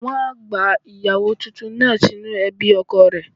Wọ́n á gba ìyàwó tuntun náà sínú ẹbí ọkọ rẹ̀.